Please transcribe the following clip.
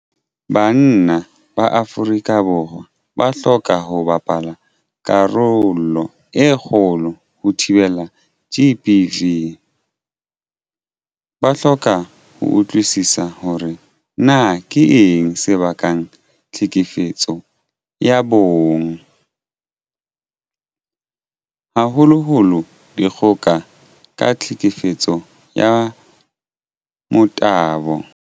Banna ba Afrika Borwa ba hloka ho bapala karolo e kgolo ho thibeleng GBV. Ba hloka ho utlwisisa hore na keng se bakang tlhekefetso ya bong, haholoholo dikgoka ka tlhekefetso ya motabo.